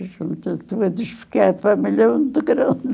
Estou a despegar, a família é muito grande.